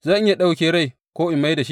Zan iya ɗauke rai ko in mai da shi?